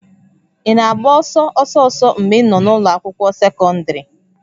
Ị na-agba ọsọ ọsọ ọsọ mgbe ị nọ n'ụlọ akwụkwọ sekọndrị?